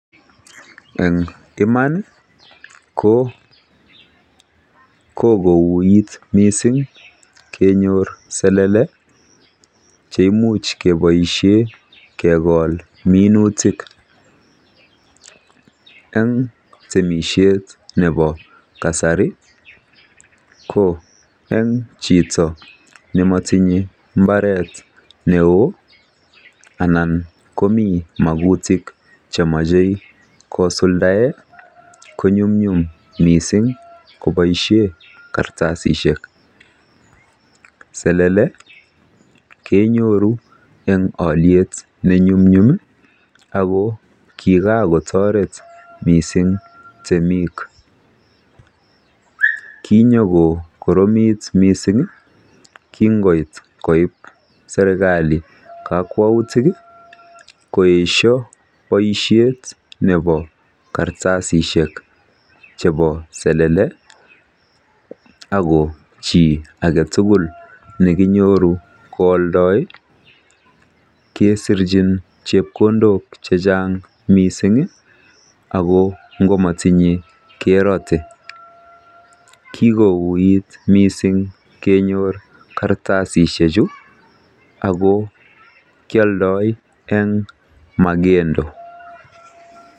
Eng iman ko kokouit mising kenyor selele cheimuch keboishe kekol minutik eng temishet nepo kasari ko eng chito nematinye mbaret neo anan komi makutik chemoche kosuldae konyumnyum mising koboishe kartasishek. Selele kenyoru eng alyet nenyumnyum ako kikakotoret mising temik. Kinyokokoromit mising kinkoit koip serikali kakwautik koesho boishet nepo kartasishek chepo selele ako chi aketugul nekinyoru koaldoi kesirchin chepkondok chechang mising ako nkomatinye kerote. Kikouit mising kenyor kartasishechu ako kialdoi eng magendo.